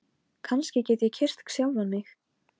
Til að skála í fyrir nýju ári.